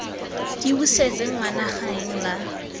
ke busetse ngwana gaeng la